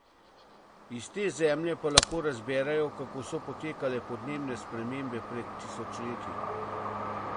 Iz te zemlje pa lahko razberejo, kako so potekale podnebne spremembe prek tisočletij.